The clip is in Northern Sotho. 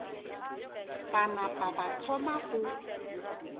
ba napa ba thoma go